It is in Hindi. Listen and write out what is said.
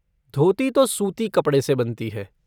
धोती तो सूती कपड़े से बनती है।